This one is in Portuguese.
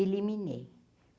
Eliminei.